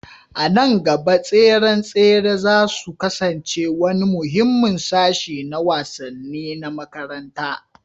A nan gaba, tseren tsere za su kasance wani muhimmin sashi na wasanni na makaranta